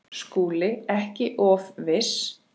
SKÚLI: Ekki of viss!